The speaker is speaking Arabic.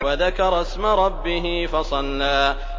وَذَكَرَ اسْمَ رَبِّهِ فَصَلَّىٰ